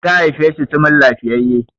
ta haife shi sumul lafiyayye!